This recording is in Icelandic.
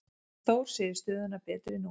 Þór segir stöðuna betri nú.